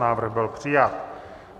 Návrh byl přijat.